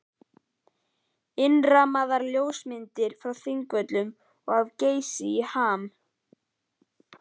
Innrammaðar ljósmyndir frá Þingvöllum og af Geysi í ham.